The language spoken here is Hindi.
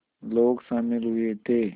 लोग शामिल हुए थे